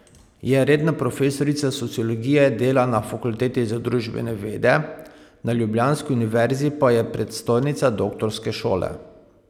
Je redna profesorica sociologije dela na fakulteti za družbene vede, na ljubljanski univerzi pa je predstojnica doktorske šole.